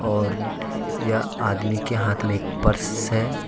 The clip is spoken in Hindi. और यह आदमी के हाथ में एक पर्स है।